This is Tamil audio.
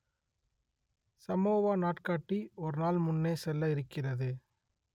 சமோவா நாட்காட்டி ஒரு நாள் முன்னே செல்ல இருக்கிறது